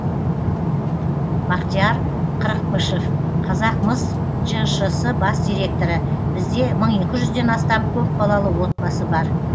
бақтияр қырықпышев қазақмыс жшс бас директоры бізде мың екі жүзден астам көпбалалы отбасы бар